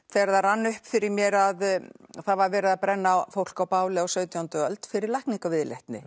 þegar það rann upp fyrir mér að það var verið að brenna fólk á báli á sautjándu öld fyrir